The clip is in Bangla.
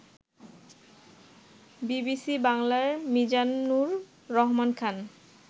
বিবিসি বাংলার মিজানুর রহমান খান